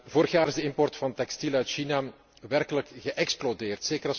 Vorig jaar is de import van textiel uit China werkelijk geëxplodeerd.